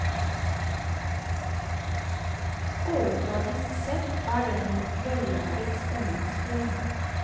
Overfladisk sett er den en vellaget spenningsfilm.